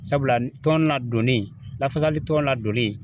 Sabula tɔn na donnin lafasali tɔn la donli